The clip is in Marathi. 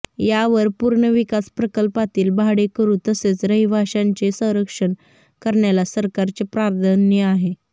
यावर पुनर्विकास प्रकल्पातील भाडेकरू तसेच रहिवाशांचे संरक्षण करण्याला सरकारचे प्राधान्य आहे